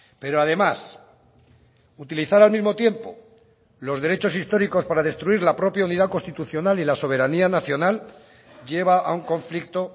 pero además utilizar al mismo tiempo los derechos históricos para destruir la propia unidad constitucional y la soberanía nacional lleva a un conflicto